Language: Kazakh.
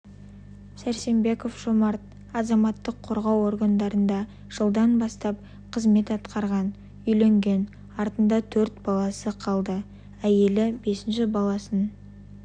сәрсенбеков жомарт азаматтық қорғау органдарында жылдан бастап қызмет атқарған үйленген артында төрт баласы қалды әйелі бесінші баласын